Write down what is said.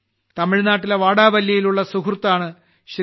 തമിഴ്നാട്ടിലെ വാടാവല്ലിയിലുള്ള സുഹൃത്താണ് ശ്രീ